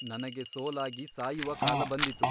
ನನಗೆ ಸೋಲಾಗಿ ಸಾಯುವ ಕಾಲ ಬಂದಿತು.